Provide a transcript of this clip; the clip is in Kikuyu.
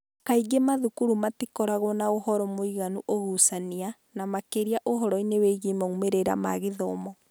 Kaingĩ mathukuru matikoragwo na ũhoro mũiganu ũgucania, na makĩria ũhoro-inĩ wĩgiĩ moimĩrĩro ma gĩthomo.